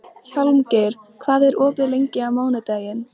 Hjálmgeir, hvað er opið lengi á mánudaginn?